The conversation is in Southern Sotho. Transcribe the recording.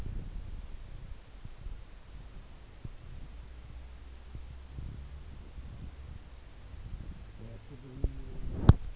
re a se bonye le